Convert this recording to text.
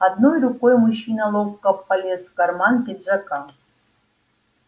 одной рукой мужчина ловко полез в карман пиджака